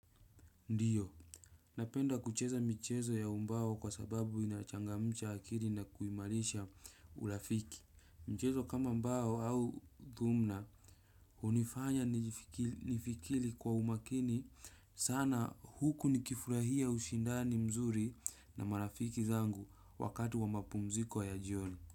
Ndiyo, napenda kucheza michezo ya umbao kwa sababu inachangamcha akili na kuimarisha urafiki. Mchezo kama mbao au thumna, hunifanya nifikiri kwa umakini sana huku nikifurahia ushindani mzuri na marafiki zangu wakati wa mapumziko ya jioni.